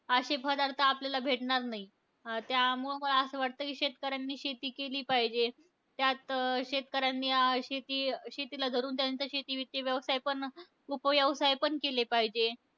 अशे पदार्थ आपल्याला भेटणार नाही. त्यामुळं असं वाटतं की शेतकऱ्यांनी शेती केली पाहिजे. त्यात शेतकऱ्यांनी अं शेती शेतीला धरून त्याचं शेती बीती व्यवसाय पण, उपव्यवसाय पण केले पाहिजे.